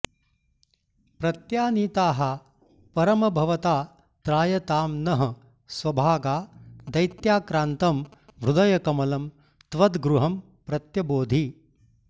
प्रत्यानीताः परम भवता त्रायतां नः स्वभागा दैत्याक्रान्तं हृदयकमलं त्वद्गृहं प्रत्यबोधि